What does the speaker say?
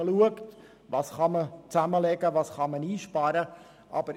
Man muss prüfen, was zusammengelegt werden kann und wo Einsparungen möglich sind.